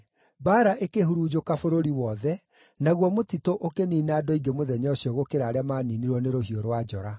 Mbaara ĩkĩhurunjũka bũrũri wothe, naguo mũtitũ ũkĩniina andũ aingĩ mũthenya ũcio gũkĩra arĩa maaniinirwo nĩ rũhiũ rwa njora.